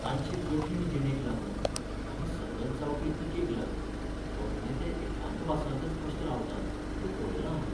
तांचे कठीण जिणेक लागून आनी सतत जावपी टिकेक लागून अभिनेते एकांतवासांतच कशे रावतात तें पळयलां हांवें.